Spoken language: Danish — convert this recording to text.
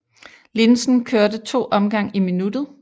Linsen kørte to omgang i minuttet